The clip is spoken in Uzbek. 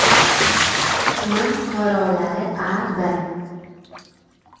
Tuman fuqarolari A.B.